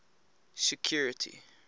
security